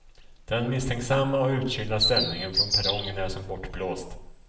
Den misstänksamma och utkylda stämningen från perrongen är som bortblåst.